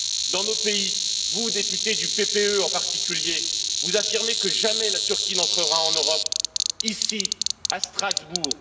Dans nos pays, vous, députés du PPE, en particulier, vous affirmez que jamais la Turquie n'entrera en Europe, ici, à Strasbourg.